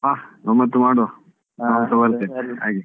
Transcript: ಹಾ ಗಮ್ಮತ್ತು ಮಾಡುವ ನಾನುಸ ಬರ್ತೇನೆ ಆಗ್ಲಿ.